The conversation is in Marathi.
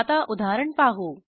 आता उदाहरण पाहू